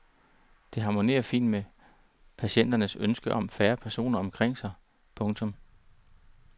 Det harmonerer fint med patienternes ønske om færre personer omkring sig. punktum